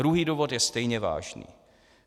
Druhý důvod je stejně vážný.